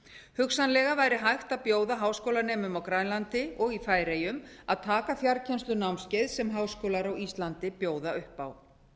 hugsanlega væri hægt að bjóða háskólanemum á grænlandi og í færeyjum að taka fjarkennslunámskeið sem háskólar á íslandi bjóða upp á